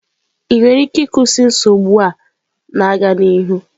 Ị nwere ike ịkwụsị nsogbu a na-aga n'ihu?